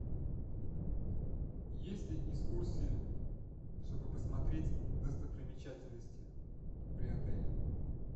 есть ли экскурсии чтобы посмотреть достопримечательности при отеле